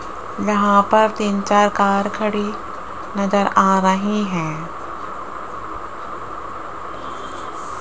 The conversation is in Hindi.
यहां पर तीन चार कार खड़ी नजर आ रही है।